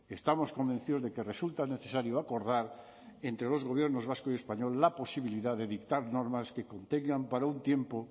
estamos convencidos de que resulta necesario acordar entre los gobiernos vasco y español la posibilidad de dictar normas que contengan para un tiempo